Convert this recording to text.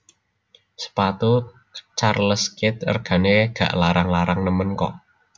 Sepatu Charles Keith regane gak larang larang nemen kok